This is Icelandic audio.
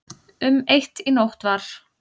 Um eitt í nótt var